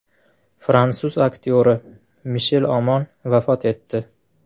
Fransuz aktyori Mishel Omon vafot etdi.